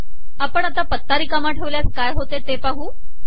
आपण आता पत्ता रिकामा ठेवल्यास काय होते ते पाहू